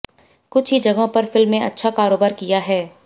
कुछ ही जगहों पर फिल्म ने अच्छा कारोबार किया है